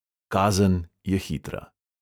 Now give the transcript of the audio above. Kazen je hitra.